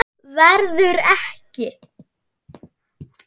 Verður ekki.